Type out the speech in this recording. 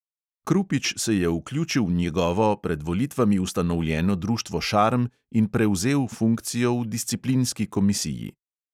Krupič se je vključil v njegovo pred volitvami ustanovljeno društvo šarm in prevzel funkcijo v disciplinski komisiji.